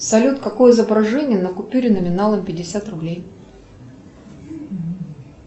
салют какое изображение на купюре номиналом пятьдесят рублей